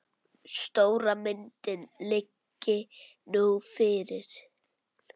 Stóra myndin liggi nú fyrir.